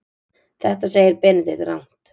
Þetta segir Benedikt rangt.